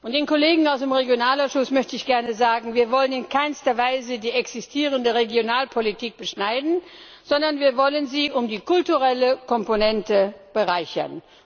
Und den Kollegen aus dem Regionalausschuss möchte ich gerne sagen Wir wollen in keiner Weise die existierende Regionalpolitik beschneiden, wir wollen sie nur um die kulturelle Komponente bereichern.